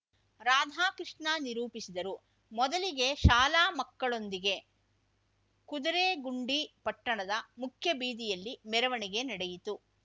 ರಾಧಾಕೃಷ್ಣ ನಿರೂಪಿಸಿದರು ಮೊದಲಿಗೆ ಶಾಲಾ ಮಕ್ಕಳೊಂದಿಗೆ ಕುದುರೆಗುಂಡಿ ಪಟ್ಟಣದ ಮುಖ್ಯಬೀದಿಯಲ್ಲಿ ಮೆರವಣಿಗೆ ನಡೆಯಿತು